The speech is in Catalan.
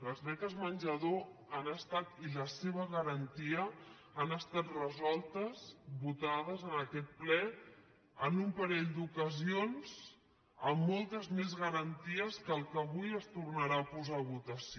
les beques menjador i la seva garantia han estat resoltes votades en aquest ple en un parell d’ocasions amb moltes més garanties que el que avui es tornarà a posar a votació